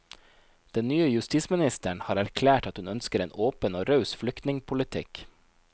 Den nye justisministeren har erklært at hun ønsker en åpen og raus flyktningpolitikk.